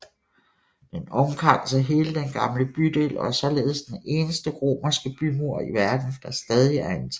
Den omkranser hele den gamle bydel og er således den eneste romerske bymur i verden der stadig er intakt